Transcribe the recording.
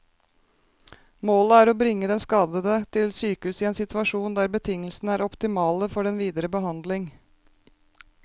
Målet er å bringe den skadede til sykehus i en situasjon der betingelsene er optimale for den videre behandling.